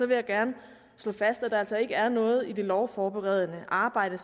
vil jeg gerne slå fast at der altså ikke er noget i det lovforberedende arbejde